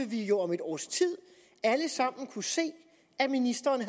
vi jo om et års tid alle sammen kunne se at ministeren